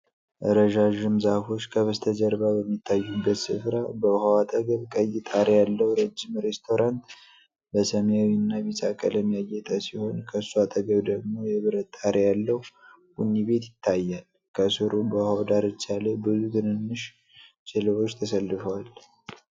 ረዣዥም ዛፎች ከበስተጀርባ በሚታዩበት ስፍራ፣ በውሃው አጠገብ ቀይ ጣሪያ ያለው ረጅም ሬስቶራንት በሰማያዊና ቢጫ ቀለም ያጌጠ ሲሆን፣ ከሱ አጠገብ ደግሞ የብረት ጣሪያ ያለው ቡኒ ቤት ይታያል። ከስሩ በውሃው ዳርቻ ላይ ብዙ ትናንሽ ጀልባዎች ተሰልፈዋል።